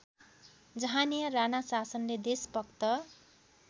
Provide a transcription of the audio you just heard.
जहाँनिया राणाशासनले देशभक्त